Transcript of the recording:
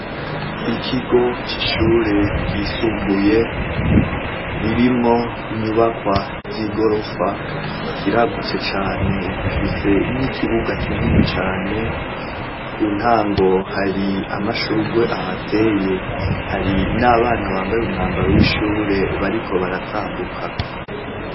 ikigo c'ishure gisumbuye ririmwo inyubakwa y'igorofa kiragutse cane gifise n'ikibuga kinini cyane ku ntango hari amashugwe ahateye hari n'abana bambaye umwambaro w'ishure bariko baratambuka